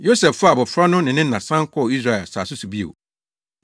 Yosef faa abofra no ne ne na san kɔɔ Israel asase so bio.